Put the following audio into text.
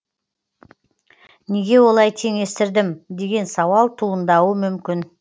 неге олай теңестірдім деген сауал туындауы мүмкін